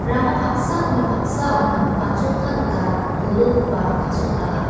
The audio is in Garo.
rama paksaoni paksaona batsotna gita dolongkoba kasotaha.